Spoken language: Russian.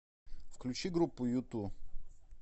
включи группу юту